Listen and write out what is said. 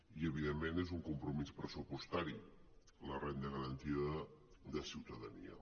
i evidentment és un compromís pressupostari la renda garantida de ciutadania